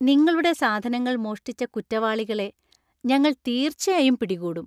നിങ്ങളുടെ സാധനങ്ങൾ മോഷ്ടിച്ച കുറ്റവാളികളെ ഞങ്ങൾ തീർച്ചയായും പിടികൂടും.